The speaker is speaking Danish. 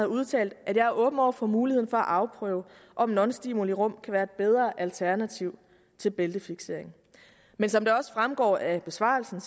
udtalt at jeg er åben over for muligheden for at afprøve om nonstimulirum kan være et bedre alternativ til bæltefiksering men som det også fremgår af besvarelsen